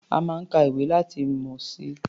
A máa ń ka ìwé láti ní ìmọ̀ si.